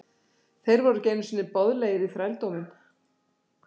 Þeir voru ekki einu sinni boðlegir í þrældóminn!